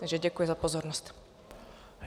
Takže děkuji za pozornost.